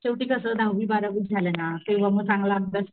शेवटी कस दहावी बारावी झालं ना तेव्हा मी चांगला अभ्यास,